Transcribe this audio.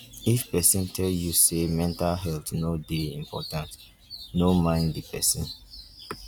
if pesin tell you sey mental health no dey important no mind di pesin.